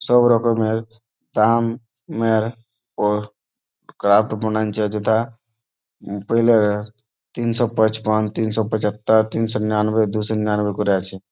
সব রকমের দাম এর ও ক্রাফট বানাইছে যেথা পহলে তিনশো পাচপান তিনশো পচাতর তিনশো নিনার্নে দুসো নিনার্নে করে আছে।